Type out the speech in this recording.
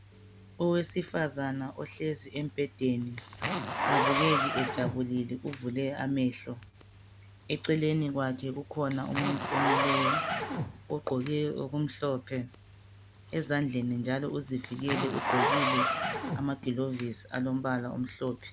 Owesifazana ohlezi embhedeni kabukeki ejabulile uvule amehlo eceleni kwakhe kukhona umuntu omileyo ogqoke okumhlophe ezandleni njalo uzivikele ugqokile amagilovisi alombala omhlophe.